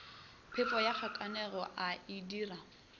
phefo ya kgakanego a itira